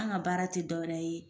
An ka baara ti dɔwɛrɛ ye